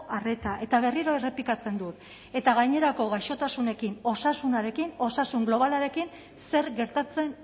arreta eta berriro errepikatzen dut eta gainerako gaixotasunekin osasunarekin osasun globalarekin zer gertatzen